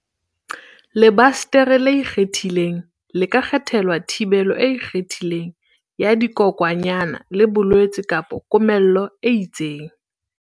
Lebasetere le ikgethileng le ka kgethelwa thibelo e ikgethileng ya dikokwanyana le bolwetse kapa komello e itseng.